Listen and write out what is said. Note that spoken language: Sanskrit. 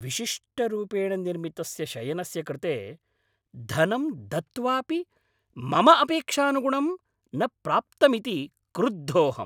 विशिष्टरूपेण निर्मितस्य शयनस्य कृते धनं दत्त्वापि मम अपेक्षानुगुणं न प्राप्तमिति क्रुद्धोऽहम्।